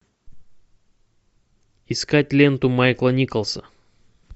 искать ленту майкла николса